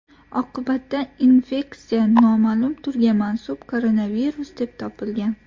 Oqibatda infeksiya noma’lum turga mansub koronavirus deb topilgan.